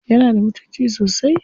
Yana da mutunci sosai?